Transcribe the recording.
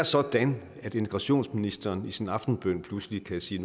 sådan at integrationsministeren i sin aftenbøn pludselig kan sige